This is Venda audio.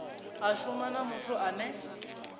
a shuma na muthu ane